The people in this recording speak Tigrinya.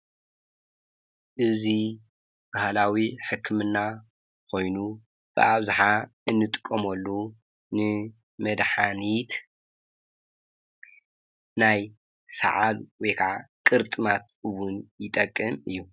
እዙይ ባሃላዊ ሕክምና ኾይኑ ብኣብዝሓ እንጥቀመሉ ንመድሓኒት ናይ ሰዓል ወይ ከዓ ቁርጥማት ውን ይጠቅም እዩ፡፡